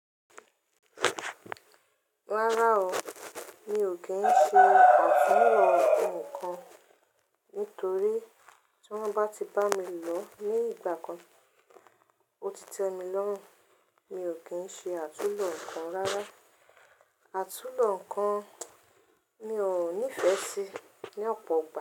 Rárá o, mi ò kí ń ṣe àtúlò ńnkan. Nítorí tí wọ́n bá ti bá mi lọ ní ìgbà kan, ó ti tẹ́ mi lọ́rùn. Mi ò kí ń ṣe àtúlò ńkan rárá. Àtúlò ńnkan mi ò nífẹ́ sí ní ọ̀pọ̀ igba.